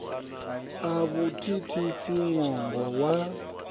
a vhu thithisi ṅwongo wa